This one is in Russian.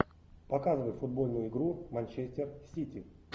показывай футбольную игру манчестер сити